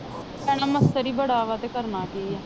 ਭੈਣੇ ਮੱਛਰ ਹੀ ਬੜਾ ਵਾ ਤੇ ਕਰਨਾ ਕੀ ਹੈ।